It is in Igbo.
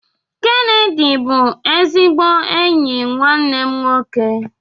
Kenedy bụ ezigbo enyi nwanne m nwoke